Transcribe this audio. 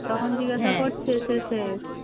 তখন জিজ্ঞাসা করছে শেষে